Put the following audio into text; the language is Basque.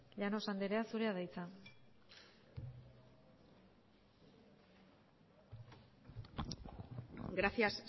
llanos andrea zurea da hitza gracias